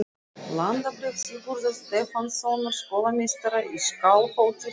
Landabréf Sigurðar Stefánssonar skólameistara í Skálholti, frá lokum